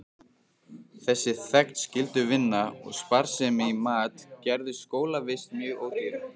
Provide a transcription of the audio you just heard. Þessi þegnskylduvinna og sparsemi í mat gerðu skólavist mjög ódýra.